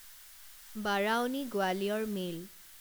Barauni Gwalior mail